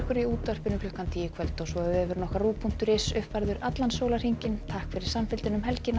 í útvarpi klukkan tíu í kvöld og vefurinn rúv punktur is er uppfærður allan sólarhringinn takk fyrir samfylgdina um helgina